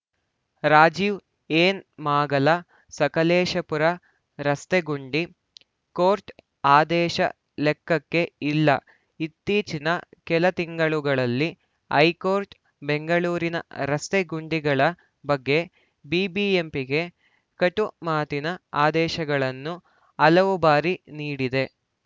Rajiv N ಮಾಗಲ ಸಕಲೇಶಪುರ ರಸ್ತೆ ಗುಂಡಿ ಕೋರ್ಟ್‌ ಆದೇಶ ಲೆಕ್ಕಕ್ಕೇ ಇಲ್ಲ ಇತ್ತೀಚಿನ ಕೆಲ ತಿಂಗಳುಗಳಲ್ಲಿ ಹೈಕೋರ್ಟ್‌ ಬೆಂಗಳೂರಿನ ರಸ್ತೆ ಗುಂಡಿಗಳ ಬಗ್ಗೆ ಬಿಬಿಎಂಪಿಗೆ ಕಟು ಮಾತಿನ ಆದೇಶಗಳನ್ನು ಹಲವು ಬಾರಿ ನೀಡಿದೆ